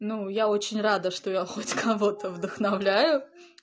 ну я очень рада что я хоть кого-то вдохновляю